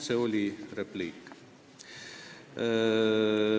See oli lihtsalt säärane repliik.